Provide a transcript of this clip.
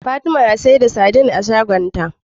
Fatima na siyar da sadin a shagon ta